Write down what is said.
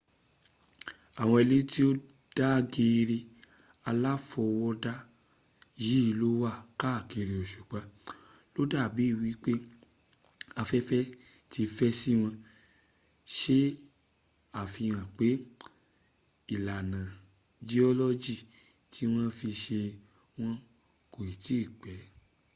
àwọn ilẹ̀ tó dàgẹ̀ẹ̀rẹ̀ aláfọwọ́dá yìí ló wà káàkiri òsùpa\ ló dà bí ẹni pé afẹ́fẹ́ ti fẹ́ síwọn se àfihàn pé ìlànà jiọ́lọ́jì tí wọ́n fi se wọ́n kò tí ì pẹ́